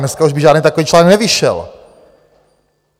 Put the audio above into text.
Dneska už by žádný takový článek nevyšel!